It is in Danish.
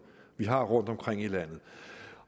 vi har rundtomkring i landet